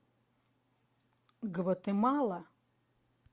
гватемала